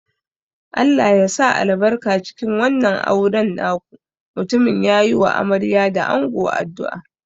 Allah ya sa albarka cikin wannan auren naku, mutumin ya yi wa amarya da ango addu'a.